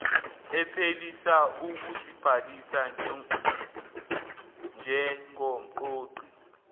ephelisa ukuzibhalisa njengomqoqi